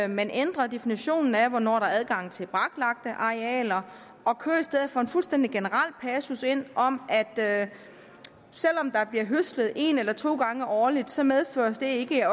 man ændrer definitionen af hvornår der er adgang til braklagte arealer og kører i stedet for en fuldstændig generel passus ind om at selv om der bliver høstet en eller to gange årligt så medfører det ikke at